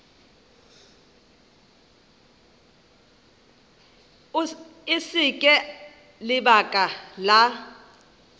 e se ka lebaka la